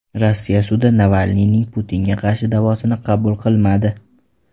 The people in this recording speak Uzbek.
Rossiya sudi Navalniyning Putinga qarshi da’vosini qabul qilmadi.